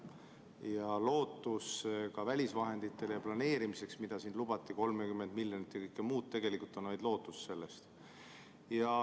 Ja ka lootus välisvahenditele planeerimise jaoks, mida lubati, 30 miljonit ja kõike muud, on tegelikult vaid lootus.